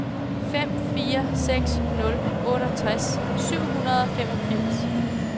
fem fire seks nul otteogtres syv hundrede og femogfirs